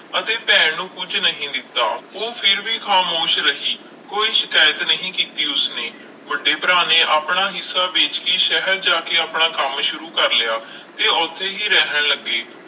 ਅਤੇ ਭੈਣ ਨੂੰ ਕੁੱਝ ਨਹੀਂ ਦਿੱਤਾ, ਉਹ ਫਿਰ ਵੀ ਖਾਮੋਸ਼ ਰਹੀ, ਕੋਈ ਸ਼ਿਕਾਇਤ ਨਹੀਂ ਕੀਤੀ ਉਸਨੇ, ਵੱਡੇ ਭਰਾ ਨੇ ਆਪਣਾ ਹਿੱਸਾ ਵੇਚ ਕੇ ਸ਼ਹਿਰ ਜਾ ਕੇ ਆਪਣਾ ਕੰਮ ਸ਼ੁਰੂ ਕਰ ਲਿਆ ਤੇ ਉੱਥੇ ਹੀ ਰਹਿਣ ਲੱਗੇ,